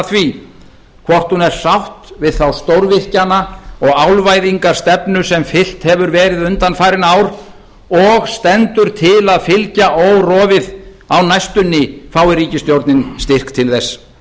því hvort hún er sátt við þá stórvirkjana og álvæðingarstefnu sem fylgt hefur verið undanfarin ár og stendur til að fylgja órofið á næstunni fái ríkisstjórnin styrk til þess